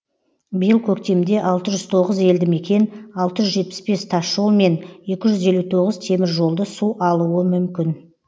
биыл көктемде алты жүз тоғыз елді мекен алты жүз жетпіс бес тасжол мен екі жүз елу тоғыз теміржолды су алуы мүмкін